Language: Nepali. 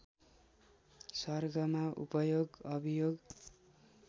सर्गमा उपयोग अभियोग